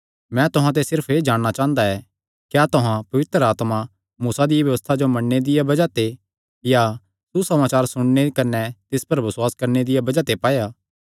मैं तुहां ते सिर्फ एह़ जाणना चांह़दा ऐ क्या तुहां पवित्र आत्मा मूसा दिया व्यबस्था जो मन्नणे दिया बज़ाह ते या सुसमाचार सुणने कने तिस पर बसुआस करणे दिया बज़ाह ते पाया